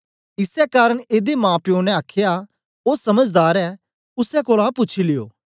इसै कारन एदे माप्यो ने आखया ओ समझदार ऐ उसै कोलां पूछी लियो